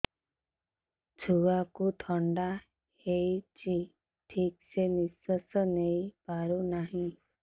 ଛୁଆକୁ ଥଣ୍ଡା ହେଇଛି ଠିକ ସେ ନିଶ୍ୱାସ ନେଇ ପାରୁ ନାହିଁ